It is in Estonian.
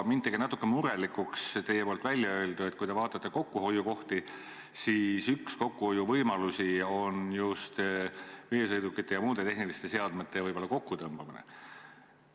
Mind tegi natuke murelikuks teie väljaöeldu, et kui te vaatate kokkuhoiukohti, siis üks võimalus on ehk just veesõidukite ja muude tehniliste vahendite kokkutõmbamine.